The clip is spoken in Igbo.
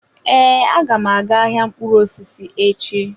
Ee, agam aga-aga ahịa mkpụrụ osisi echi.